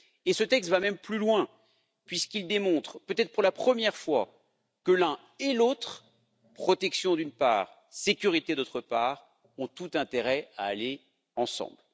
Ce texte va même plus loin puisqu'il démontre, peut être pour la première fois, que l'un et l'autre, protection d'une part, sécurité, d'autre part, ont tout intérêt à aller ensemble.